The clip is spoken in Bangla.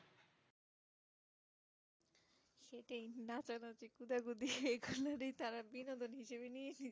নাচানাচি কুঁদাকুতি এগুলোরই তারা বিনোদন হিসাবে নিয়ে নিয়েছে